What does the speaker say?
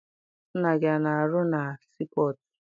Nna gị ana arụ na sii pọtụ?